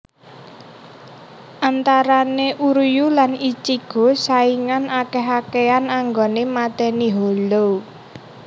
Antarane Uryuu lan Ichigo saingan akeh akehan anggoné matèni hollow